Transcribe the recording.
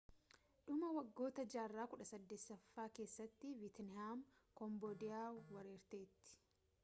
dhuma waggoota jaarraa 18ffaa keessatti veetinihaamis kaamboodiyaa weerarteetti